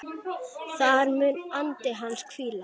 Þar mun andi hans hvíla.